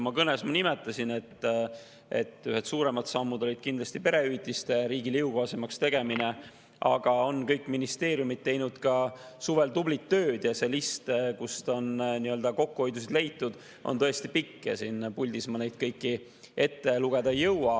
Oma kõnes ma nimetasin, et üks suurem samm oli kindlasti perehüvitiste riigile jõukohasemaks tegemine, aga ka kõik ministeeriumid on teinud suvel tublit tööd ja see list, kus on kokkuhoiu leitud, on tõesti pikk ja siin puldis ma neid kõiki ette lugeda ei jõua.